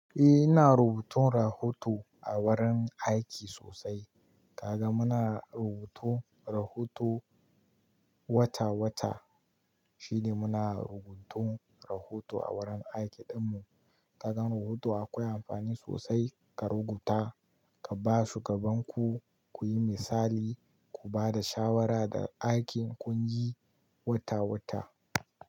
Eh, ina rubutun rahoto a wurin aiki sosai. Kaga muna rubutu rahoto wata-wata. Shi ne muna rubutun rahoto a wurin aiki ɗinmu. Kaga rubutu akwai amfani sosai. Ka rubuta ka ba shugaban ku, ku yi misali, ku ba da shawara da aikin ƙungi wata-wata.